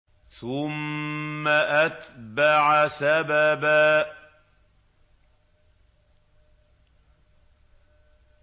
ثُمَّ أَتْبَعَ سَبَبًا